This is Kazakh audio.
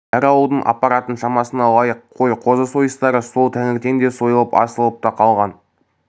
әр ауылдың апаратын шамасына лайық қой қозы сойыстары сол таңертеңде сойылып асылып та қалған